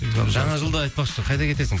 жаңа жылда айтпақшы қайда кетесің